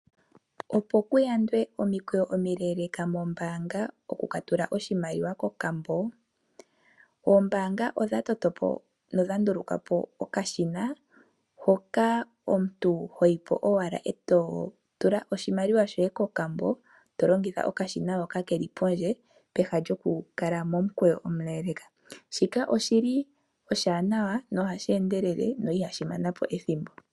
Opo kuyandwe omikweyo omile moombaanga, okuka tula oshimaliwa kokambo. Oombaanga odha nduluka po okashina hoka omuntu hoyi po ashike eto tula oshimaliwa shoye kokambo. owa pumbwa okulongitha okashina hoka keli pondje, peha lyoku kala momukeyo omule. Oshinima oshiwanawa ohashi endelele, ihashi kwata ethimbo.